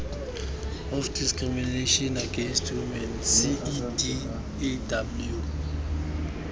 of discrimination against women cedaw